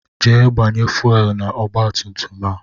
Jee gbanye fuwelu na-ọgba tum tum a!